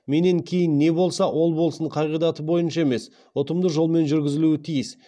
менен кейін не болса ол болсын қағидаты бойынша емес ұтымды жолмен жүргізілуі тиіс